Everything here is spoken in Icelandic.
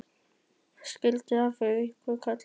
Skyndilega heyrði ég einhvern kalla fyrir aftan mig.